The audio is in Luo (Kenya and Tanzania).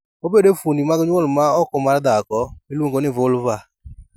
Obedo e fuondni mag nyuol ma oko mar dhako, miluongo ni vulva.